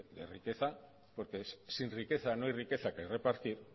de riqueza porque sin riqueza no hay riqueza que repartir